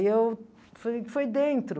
eu... Foi foi dentro.